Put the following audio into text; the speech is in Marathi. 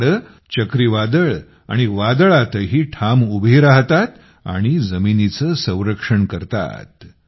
ही झाडे चक्रीवादळे आणि वादळातही ठाम उभी राहतात आणि जमिनीचे संरक्षण देतात